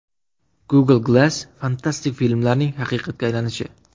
Google Glass fantastik filmlarning haqiqatga aylanishi.